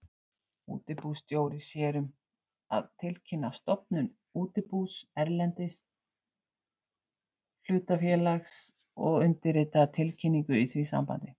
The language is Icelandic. Útibússtjóri sér um að tilkynna stofnun útibús erlends hlutafélags og undirritar tilkynningu í því sambandi.